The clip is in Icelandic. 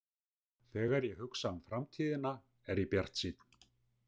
Þegar ég hugsa um framtíðina er ég bjartsýnn.